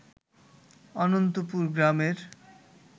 অনন্তপুর গ্রামের